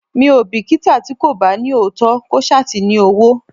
Mi ò bìkítà tí kò bá ní òótọ́, kó ṣá ti ní owó.